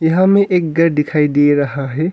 यहां मैं एक गर दिखाई दे रहा है।